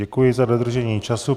Děkuji za dodržení času.